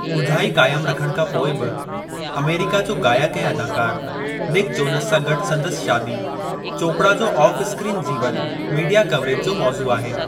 ॻुझाई क़ायमु रखण खां पोइ बि, अमेरिका जो गायकु ऐं अदाकारु निक जोनेस सां गॾु संदसि शादी, चोपड़ा जो ऑफ-स्क्रीन जीवनु मीडिया कवरेज जो मौज़ू आहे।